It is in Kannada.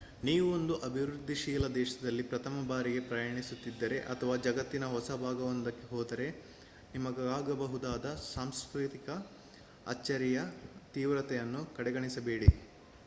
ನೀವು ಒಂದು ಅಭಿವೃದ್ಧಿಶೀಲ ದೇಶದಲ್ಲಿ ಪ್ರಥಮ ಬಾರಿಗೆ ಪ್ರಯಾಣಿಸುತಿದ್ದರೆ ಅಥವಾ ಜಗತ್ತಿನ ಹೊಸ ಭಾಗವೊಂದಕ್ಕೆ ಹೋದರೆ ನಿಮಗಾಗಬಹುದಾದ ಸಾಂಸ್ಕೃತಿಕ ಅಚ್ಚರಿಯ ತೀವ್ರತೆಯನ್ನು ಕಡೆಗಣಿಸಬೇಡಿ